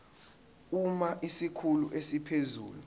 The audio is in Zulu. uma isikhulu esiphezulu